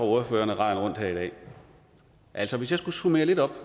ordførerne raden rundt her i dag altså hvis jeg skulle summere lidt op